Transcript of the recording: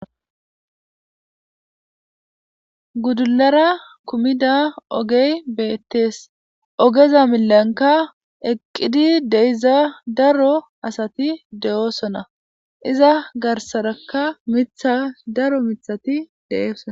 gudulara kumida ogey beettes ogeza milanka eqqidi deyiza daro asati de7oosona iza garsaraka mitha daro mithati de7oosona